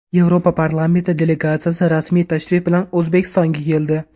Yevropa parlamenti delegatsiyasi rasmiy tashrif bilan O‘zbekistonga keldi.